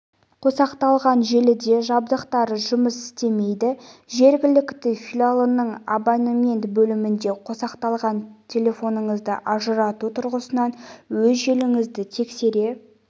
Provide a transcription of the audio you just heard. қосақталған желіде жабдықтары жұмыс істемейді жергілікті филиалының абонемент бөлімінде қосақталған телефоныңызды ажырату тұрғысынан өз желіңізді тексере